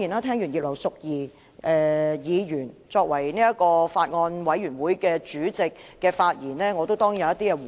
聽罷葉劉淑儀議員作為法案委員會主席的發言，我當然要作回應。